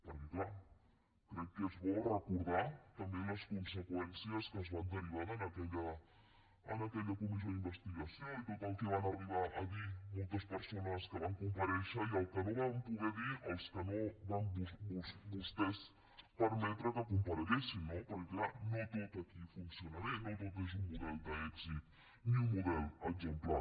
perquè és clar crec que és bo recordar també les conseqüències que es van derivar d’aquella comissió d’investigació i tot el que van arribar a dir moltes persones que van comparèixer i el que no van poder dir els que no van vostès permetre que compareguessin no perquè és clar no tot aquí funciona bé no tot és un model d’èxit ni un model exemplar